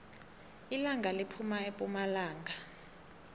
ilanga liphuma epumalanga